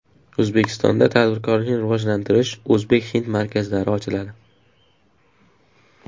O‘zbekistonda tadbirkorlikni rivojlantirish o‘zbek-hind markazlari ochiladi.